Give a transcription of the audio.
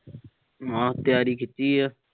ਹਮ ਤਿਆਰੀ ਖਿੱਚੀ ਆ।